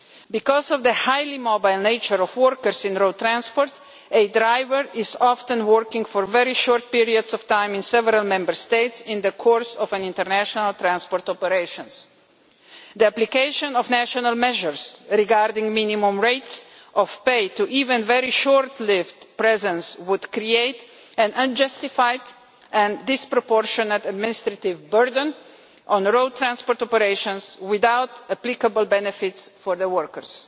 Because of the highly mobile nature of workers in road transport, a driver often works for very short periods of time in several Member States in the course of international transport operations. The application of national measures regarding minimum rates of pay to even a very short-lived presence would create an unjustified and disproportionate administrative burden on road transport operations, without applicable benefits for their workers.